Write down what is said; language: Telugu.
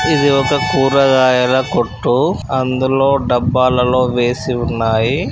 ఇది ఒక కూరగాయల కొట్టు అందులో డబ్బాలలో వేసి వున్నయి.